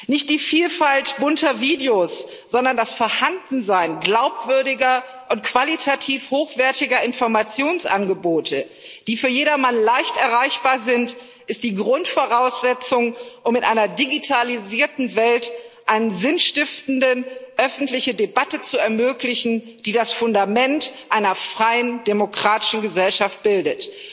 Nicht die Vielfalt bunter Videos, sondern das Vorhandensein glaubwürdiger und qualitativ hochwertiger Informationsangebote, die für jedermann leicht erreichbar sind, ist die Grundvoraussetzung, um in einer digitalisierten Welt eine sinnstiftende öffentliche Debatte zu ermöglichen, die das Fundament einer freien, demokratischen Gesellschaft bildet.